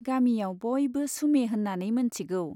गामियाव बयबो सुमे होन्नानै मोनथिगौ।